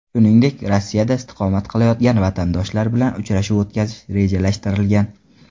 Shuningdek, Rossiyada istiqomat qilayotgan vatandoshlar bilan uchrashuv o‘tkazish rejalashtirilgan.